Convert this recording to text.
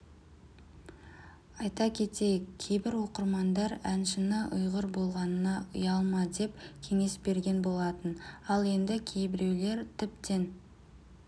айта кетейік кейбір оқырмандар әншіні ұйғыр болғанына ұялма деп кеңес берген болатын ал енді кейбіреулер тіптен